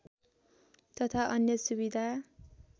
तथा अन्य सुविधा